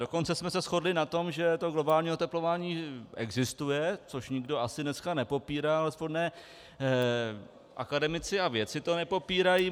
Dokonce jsme se shodli na tom, že to globální oteplování existuje, což nikdo asi dneska nepopírá, alespoň akademici a vědci to nepopírají.